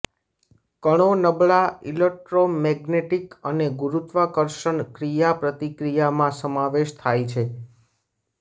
કણો નબળા ઇલેક્ટ્રોમેગ્નેટિક અને ગુરૂત્વાકર્ષણ ક્રિયાપ્રતિક્રિયા માં સમાવેશ થાય છે